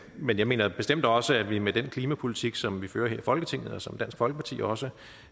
men jeg mener bestemt også at vi med den klimapolitik som vi fører her i folketinget og som dansk folkeparti også